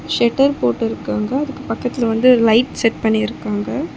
ஷெட்டர் போட்டு இருக்காங்க அதுக்கு பக்கத்தில வந்து லைட் செட் பண்ணி இருக்காங்க.